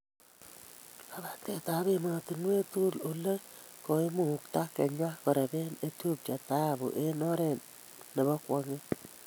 Labatetab emotinwek tugul: Ole koimukta Kenya korebee Ethiopia thahabu eng oret nebo kwong'et